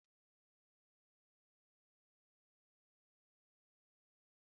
Ọka dị ụtọ na-ebupụta ụtọ na sàlaad